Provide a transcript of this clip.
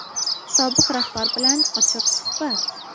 Sobiq rahbar bilan ochiq suhbat.